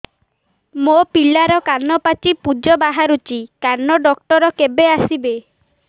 ମୋ ପିଲାର କାନ ପାଚି ପୂଜ ବାହାରୁଚି କାନ ଡକ୍ଟର କେବେ ଆସିବେ